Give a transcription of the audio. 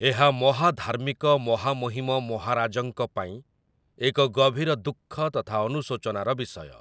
ଏହା ମହାଧାର୍ମିକ ମହାମହିମ ମହାରାଜଙ୍କ ପାଇଁ ଏକ ଗଭୀର ଦୁଃଖ ତଥା ଅନୁଶୋଚନାର ବିଷୟ ।